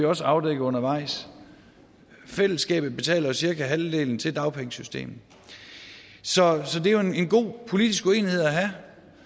også afdækket undervejs fællesskabet betaler cirka halvdelen til dagpengesystemet så det er en god politisk uenighed at have